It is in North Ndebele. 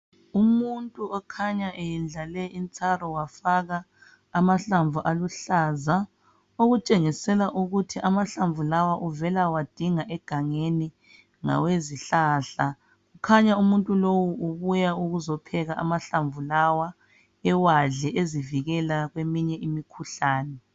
umuntu okhanya eyendlale intshalo wafaka ama hlamvu aluhlaza okutshengisela ukuthi amahlamvu lawa uvela kuyawadinga egangeni ngawezi hlahla kukhanya umuntu lo ubuya ukuzopheka amahlamvu lawa ewadle ezivikela kweyinye imikhuhlane.